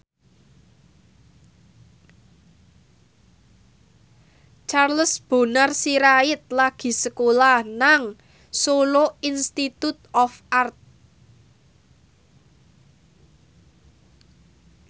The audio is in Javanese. Charles Bonar Sirait lagi sekolah nang Solo Institute of Art